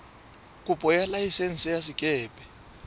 kopo ya laesense ya sekepe